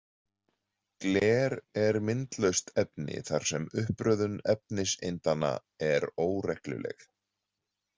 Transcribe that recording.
Gler er myndlaust efni þar sem uppröðun efniseindanna er óregluleg.